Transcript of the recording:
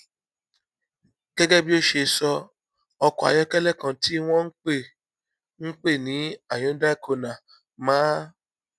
gégé bí ó ṣe sọ ọkò ayókélé kan tí wón ń pè ń pè ní hyundai kona máa